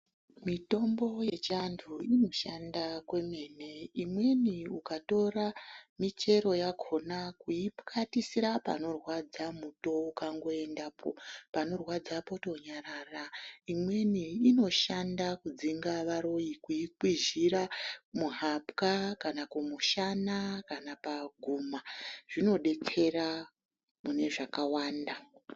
Mitombo yechiantu inoshanda kwemene, imweni ukatora michero yakona weyipwatisira panorwadza, muto ukangoendapo panorwadza potonyarara, imweni inoshanda kudzinga varoyi kuyikwizhira, muhapwa kana kumushana, kana paguma zvinodetsera mune zvakawanda.